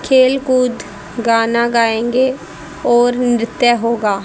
खेल कूद गाना गाएंगे और नृत्य होगा।